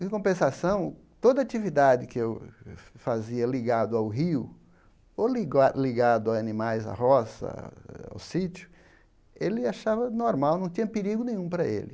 Em compensação, toda atividade que eu fazia ligado ao rio ou liguado ligado a animais, à roça, ao sítio, ele achava normal, não tinha perigo nenhum para ele.